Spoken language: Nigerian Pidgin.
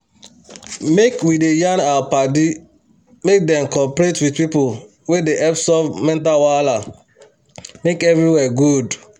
make we da yan our paddy make dem coperate with pipu wey they help solve mental wahala make everywhere good